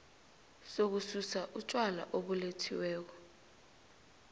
sokususa utjwala obulethiweko